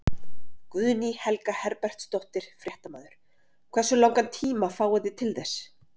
Guðný Helga Herbertsdóttir, fréttamaður: Hversu langan tíma fáið þið til þess?